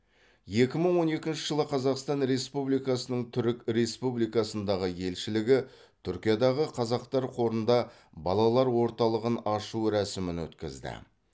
екі мың он екінші жылы қазақстан республикасының түрік республикасындағы елшілігі түркиядағы қазақтар қорында балалар орталығын ашу рәсімін өткізді